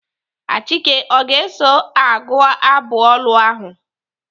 Achike ọ ga-eso agụ abụ olu ahụ?